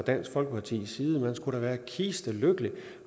dansk folkepartis side man skulle da være kisteglad